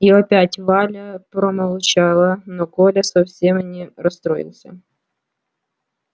и опять валя промолчала но коля совсем не расстроился